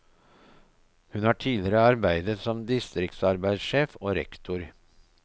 Hun har tidligere arbeidet som distriktsarbeidssjef og rektor.